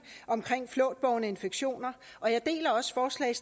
omkring flåtbårne infektioner og jeg